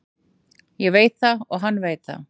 Ég veit það og hann veit það.